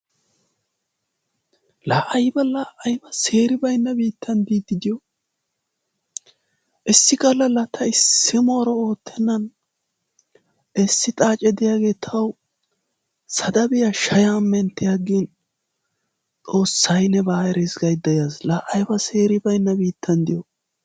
Laa ayiba laa ayiba seeri bayinna biittan diiddi diyo issi gallaa laa ta issi mooro oottenan issi xaacee diyagee tawu sadabiya shayan menttiyaggin xoossay nebaa eres gayidda yaas. Laa ayiba seeri bayinna biittan diyo!.